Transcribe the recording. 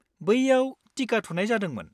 बैयाव टिका थुनाय जादोंमोन।